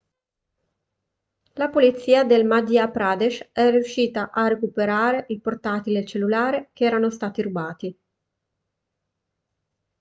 la polizia del madhya pradesh è riuscita a recuperare il portatile e il cellulare che erano stati rubati